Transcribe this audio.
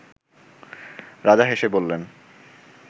রাজা হেসে বললেন